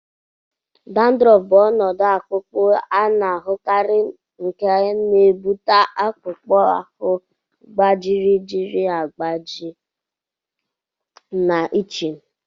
Dandruff bụ ọnọdụ akpụ akpụ a na-ahụkarị nke na-ebute akpụkpọ ahụ gbajiri agbaji na itching.